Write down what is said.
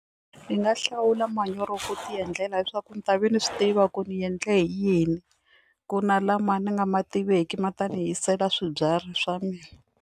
Ndzi nga hlawula manyoro ku ti endlela leswaku ni ta va ni swi tiva ku ni endle hi yini ku na lama ni nga ma tiveki ma ta ni hisela swibyari swa mina.